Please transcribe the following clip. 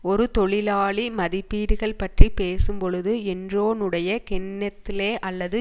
ஒரு தொழிலாளி மதிப்பீடுகள் பற்றி பேசும்பொழுது என்ரோனுடைய கென்னெத் லே அல்லது